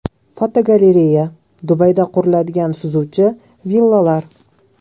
Fotogalereya: Dubayda quriladigan suzuvchi villalar.